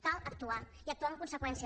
cal actuar i actuar en conseqüència